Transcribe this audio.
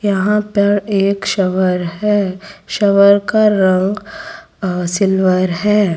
यहां पर एक शवर है शवर का रंग सिल्वर है।